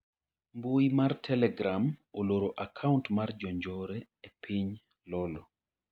Mbui mar telegram oloro akaunt mar jonjore e piny Lolo